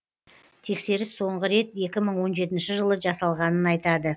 тексеріс соңғы рет екі мың он жетінші жылы жасалғанын айтады